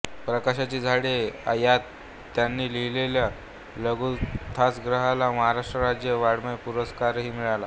प्रकाशाची झाडे या त्यांनी लिहिलेल्या लघुकथासंग्रहाला महाराष्ट्र राज्य वाङ्मय पुरस्कारही मिळाला